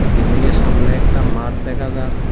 Building -এর সামনে একটা মাঠ দেখা যার।